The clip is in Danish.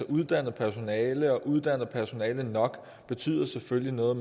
uddannet personale og uddannet personale nok betyder selvfølgelig noget